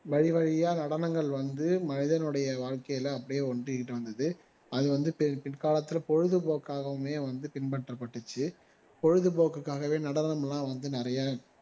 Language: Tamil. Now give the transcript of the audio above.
வழி வழியா நடனங்கள் வந்து மனிதனுடைய வாழ்க்கையில அப்படியே ஒட்டிக்கிட்டு வந்தது அது வந்து பி பிற்காலத்துல பொழுதுபோக்காகவுமே வந்து பின்பற்ற பட்டுச்சு பொழுதுபோக்குக்காவே நடனம் எல்லாம் வந்து நிறைய